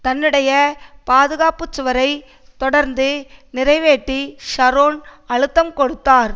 தன்னுடைய பாதுகாப்பு சுவரை தொடர்ந்து நிறைவேற்றி ஷரோன் அழுத்தம் கொடுத்தார்